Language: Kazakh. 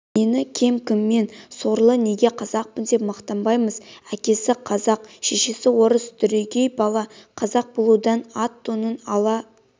нені кем кімнен сорлы неге қазақпын деп мақтанбаймыз әкесі қазақ шешесі орыс дүрегей бала қазақ болудан ат-тонын ала